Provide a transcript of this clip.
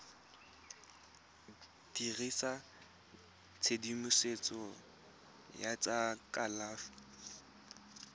dirisa tshedimosetso ya tsa kalafi